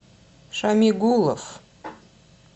шамигулов